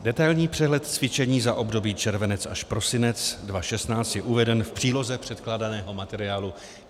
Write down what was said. Detailní přehled cvičení za období červenec až prosinec 2016 je uveden v příloze předkládaného materiálu.